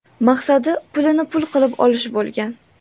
Maqsadi pulini pul qilib olish bo‘lgan.